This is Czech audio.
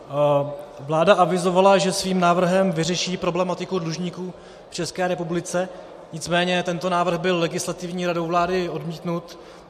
Vláda avizovala, že svým návrhem vyřeší problematiku dlužníků v České republice, nicméně tento návrh byl Legislativní radou vlády odmítnut.